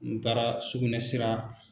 N taara sugunɛsira